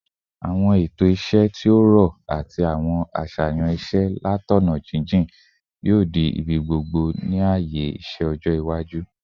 Awọn eto iṣẹ ti o rọ ati awọn aṣayan iṣẹ latọna jijin yoo di ibigbogbo ni aaye iṣẹ iwaju